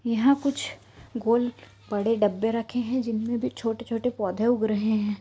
यहाँ कुछ गोल बड़े डब्बे रखे हैं जिनमे भी छोटे-छोटे पौधे उग रहे हैं।